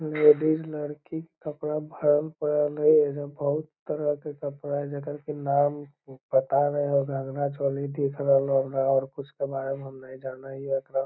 Ladies लड़की के कपड़ा भरल परल हेय एजा बहुत तरह के कपड़ा हेय जकर नाम पता ने घघरा चोली दिख रहलो हमरा और कुछ के बारे मे हम ने जानें हीयो।